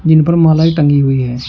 इन पर मालाएं टंगी हुई है।